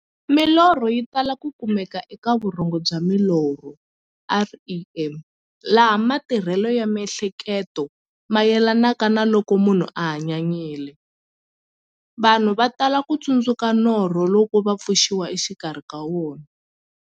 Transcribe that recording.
Milorho yi tala ku kumeka eka vurhongo bya milorho, REM, laha matirhele ya mi'hleketo mayelanaka na loko munhu a hanyanyile. Vanhu va tala ku tsundzuka norho loko va pfuxiwa exikarhi ka wona.